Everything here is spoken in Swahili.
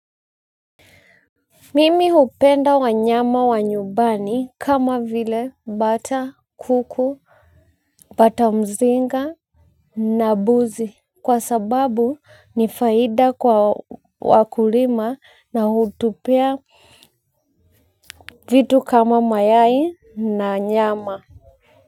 Mimi hupenda wanyama wa nyumbani kama vile bata kuku. Bata mzinga na mbuzi, kwa sababu ni faida kwa wakulima na hutupea vitu kama mayai na nyama.